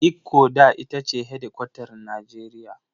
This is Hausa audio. Ikko da ita ce hedikwatar Nijeriya.